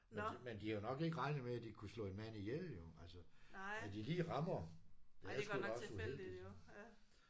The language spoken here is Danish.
Men men de har jo nok ikke regnet med at de kunne slå en mand ihjel jo altså at de lige rammer det er sgu da også uheldigt jo